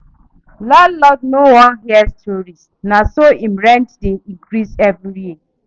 Landlord no wan hear story, naso em rent dey increase every year.